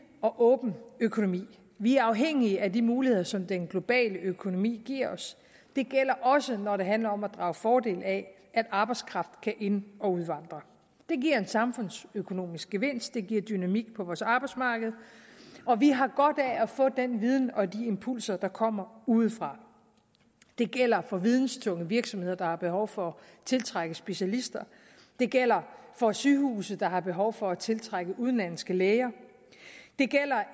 og åben økonomi vi er afhængig af de muligheder som den globale økonomi giver os det gælder også når det handler om at drage fordel af at arbejdskraft kan ind og udvandre det giver en samfundsøkonomisk gevinst det giver dynamik på vores arbejdsmarked og vi har godt af at få den viden og de impulser der kommer udefra det gælder for videntunge virksomheder der har behov for at tiltrække specialister det gælder for sygehuse der har behov for at tiltrække udenlandske læger det gælder